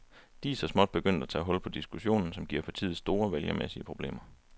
De er så småt begyndt at tage hul på diskussionen, som giver partiet store vælgermæssige problemer.